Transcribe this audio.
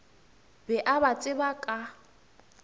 be a ba tseba ka